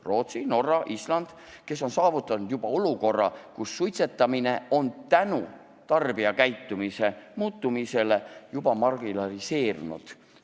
Rootsi, Norra ja Island on saavutanud olukorra, kus suitsetamine on tänu tarbijakäitumise muutumisele juba marginaliseerunud.